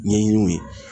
Ɲɛɲiniw ye